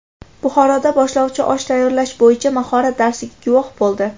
Buxoroda boshlovchi osh tayyorlash bo‘yicha mahorat darsiga guvoh bo‘ldi.